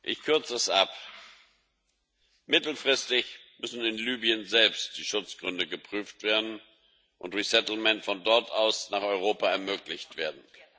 Ich kürze es ab Mittelfristig müssen in Libyen selbst die Schutzgründe geprüft werden und resettlement muss von dort aus nach Europa ermöglicht werden.